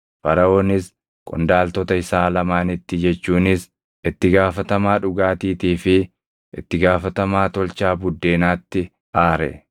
Faraʼoonis qondaaltota isaa lamaanitti jechuunis itti gaafatamaa dhugaatiitii fi itti gaafatamaa tolchaa buddeenaatti aare;